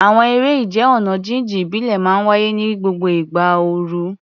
Àwọn eré ìje ọ̀nà jíjìn ìbílẹ̀ máa ń wáyé ní gbogbo ìgbà ooru.